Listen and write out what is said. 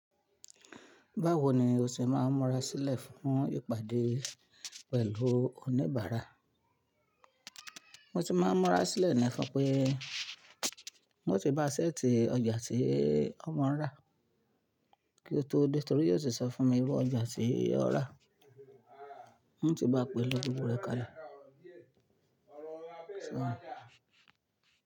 Báwo ni o ṣe máa ń múra sílẹ̀ fún ìpàdé pẹ̀lú oníbàárà? Mo ti máa ń múra sílẹ̀ ni fún pé ń o ti ba ṣẹ́ẹ̀tì ọjà tí ọ maa ń rà kí ó tó dé torí yóò tì sọ fún mi irú ọjà tí yió rà. N ti bá a pè elo gbogbo rẹ̀ kalẹ̀.